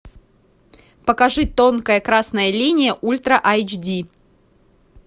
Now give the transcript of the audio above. покажи тонкая красная линия ультра айч ди